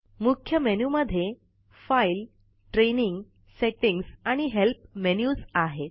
मुख्य मेनू मध्ये file training setting आणि हेल्प मेन्युझ आहेत